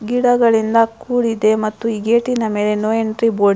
ಗಿಡಗಲ್ಲಿಂದ ಕೂಡಿದೆ ಮತ್ತು ಗೇಟಿನ ಮೇಲೆ ನೋ ಎಂಟ್ರಿ ಬೋರ್ಡ್ --